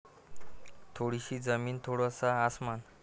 थोडी सी जमीन थोडा सा आसमान